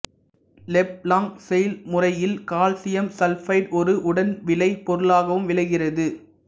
Leblanc செயல்முறையில் calcium sulphide ஓர் உடன் விளைபொருளாகவும் விளைகிறது